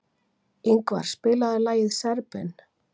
Yngvar, spilaðu lagið „Serbinn“.